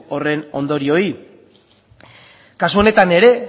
horren ondorioei kasu honetan ere